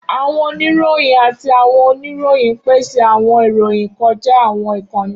Awọn onirohin ati awọn oniroyin n pese awọn iroyin kọja awọn ikanni.